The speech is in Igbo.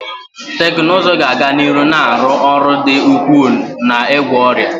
Teknụzụ ga-aga n'ihu na-arụ ọrụ dị ukwuu n'ịgwọ ọrịa